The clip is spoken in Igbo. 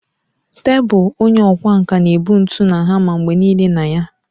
Tebụl onye ọkwá nkà na-ebu ntu na hama mgbe nile na ya.